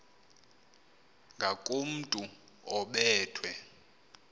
ngakomntu obe thwe